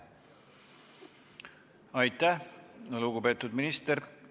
Aitäh, lugupeetud minister!